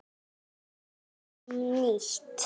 Kjósum nýtt.